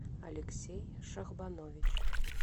алексей шахбанович